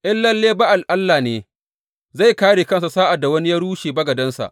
In lalle Ba’al allah ne, zai kāre kansa sa’ad da wani ya rushe bagadensa.